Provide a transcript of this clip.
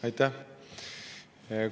Aitäh!